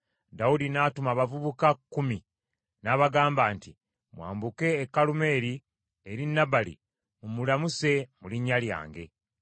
Dawudi n’atuma abavubuka kkumi, n’abagamba nti, “Mwambuke e Kalumeeri eri Nabali mumulamuse mu linnya lyange.